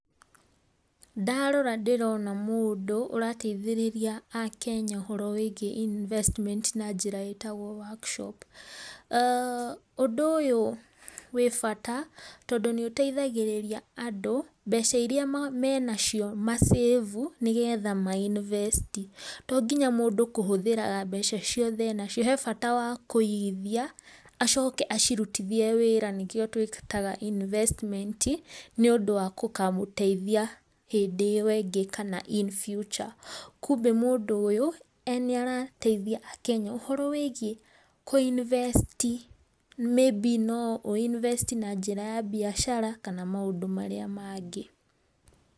Ndarora ndĩrona mũndũ ũrateithĩrĩria Akenya ũhoro wĩgiĩ invesstiment na njĩra ĩtagwo workshop. Ũndũ ũyũ wĩ bata tũndũ nĩ ũteithagĩrĩria andũ mbeca iria menacio ma save u nĩgetha ma invest i. To nginya mũndũ kũhũthĩraga mbeca ciothe enacio, he bata wa kũigithia, acoke acirutithie wĩra nĩkĩo twĩtaga investment, nĩ ũndũ wa gũkamũteithia hĩndĩ ĩyo ĩngĩ kana in future. Kumbĩ mũndũ ũyũ nĩ arateithia akenya ũhoro wĩgiĩ kũinivesti, maybe no ũinivesti na njĩra ya mbiacara kana maũndũ marĩa mangĩ.